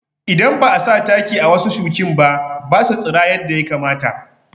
Idan ba'a sa taki a wasu shukinba basu tsira yadda ya kamata